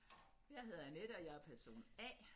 Jeg hedder Annette og jeg er person A